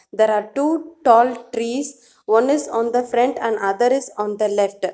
There are two tall trees one is on the front and other is on the left.